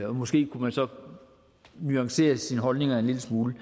og måske kunne man så nuancere sine holdninger en lille smule